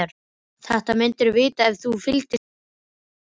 Þetta myndirðu vita ef þú fylgdist aðeins betur með.